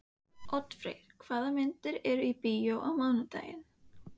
Oddfreyr, hvaða myndir eru í bíó á mánudaginn?